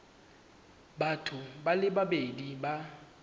batho ba le babedi ba